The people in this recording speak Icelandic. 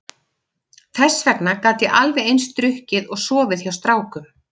Þess vegna gat ég alveg eins drukkið og sofið hjá strákum.